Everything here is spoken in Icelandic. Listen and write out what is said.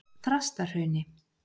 Þrastahrauni